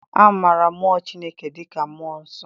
A maara mụọ Chineke dịka Mmụọ Nsọ.